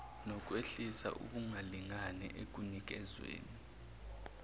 nokwehlisa ukungalingani ekunikezweni